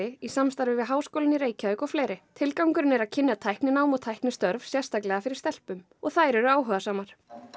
í samstarfi við Háskólann í Reykjavík og fleiri tilgangurinn er að kynna tækninám og tæknistörf sérstaklega fyrir stelpum og þær eru áhugasamar